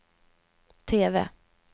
TV